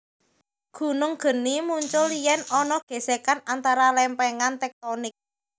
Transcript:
Gunung geni muncul yèn ana gèsèkan antara lèmpèngan tèktonik